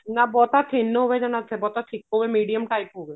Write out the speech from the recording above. ਨਾ ਬਹੁਤ thin ਹੋਵੇ ਨਾ ਬਹੁਤਾ thick ਹੋਵੇ medium type ਹੋਵੇ